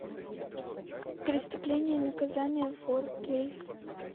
преступление и наказание фор кей